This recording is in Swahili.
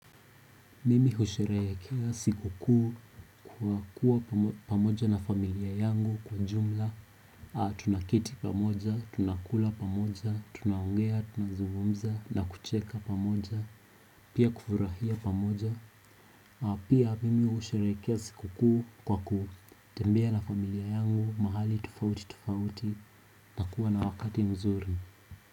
Mimi husherehe kila siku kuu kwa kuwa pamoja na familia yangu kwa ujumla Tunaketi pamoja, tunakula pamoja, tunaongea, tunazungumza na kucheka pamoja Pia kufurahia pamoja, pia mimi husherehekea siku kuu kwa ku tembea na familia yangu mahali tofauti tofauti na kuwa na wakati nuzuri.